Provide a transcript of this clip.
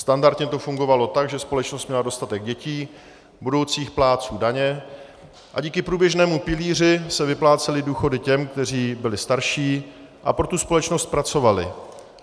Standardně to fungovalo tak, že společnost měla dostatek dětí, budoucích plátců daně, a díky průběžnému pilíři se vyplácely důchody těm, kteří byli starší a pro tu společnost pracovali.